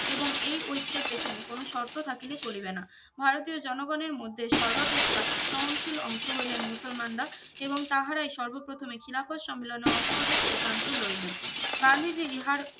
এবং এই ঐক্যের পেছনে কোনো শর্ত থাকিলে চলিবেনা ভারতীয় জনগনের মধ্যে সর্বাপেক্ষা স্বয়ং শিল অংশ হইলেন মুসলমানরা এবং তাহারাই সর্বপ্রথমে খিলাফত সম্মেলনে অসহযোগ সিদ্ধান্ত লইলেন গান্ধীজির ইহার